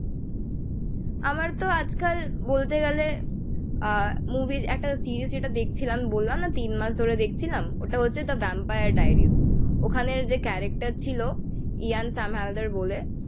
আমার তো আজকাল বলতে গেলে আ মুভি র একটা সিরিজ যেটা দেখছিলাম, বললাম না তিন মাস ধরে দেখছিলাম, ওটা হচ্ছে দ্যা ভ্যাম্পায়ার্স আর ডাইরি ওখানে যে ক্যারেকটার ছিল ইয়ান শাম হালদার বলে